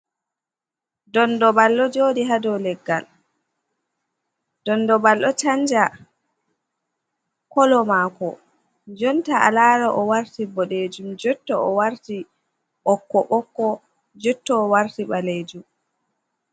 Dondo bal ɗo joɗi ha dou leggal, ɗondo bal ɗo chanja kolo mako, jonta a lara o warti boɗejum, jotto o warti ɓokko ɓokko, jotto o warti ɓalejum.